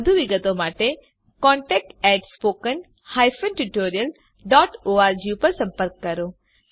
વધુ વિગત માટે contact at spoken hyphen tutorial dot org પર સંપર્ક કરો